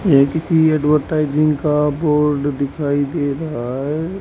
एक इ एडवरटाइजिंग का बोर्ड दिखाई दे रहा है।